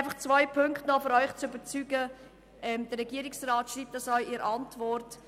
Noch zwei Punkte, um Sie zu überzeugen: Davon schreibt der Regierungsrat auch in der Antwort.